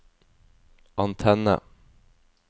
antenne